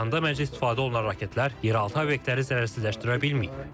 İsfahanda məclisdə istifadə olunan raketlər yeraltı obyektləri zərərsizləşdirə bilməyib.